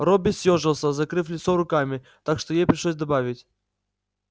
робби съёжился закрыв лицо руками так что ей пришлось добавить